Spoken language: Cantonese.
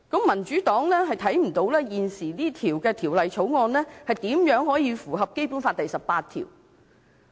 "民主黨看不到現時的《條例草案》如何能夠符合《基本法》第十八條。